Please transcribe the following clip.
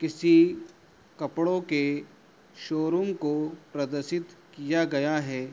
किसी कपड़ो के शोरूम को प्रदर्शित किया गया है।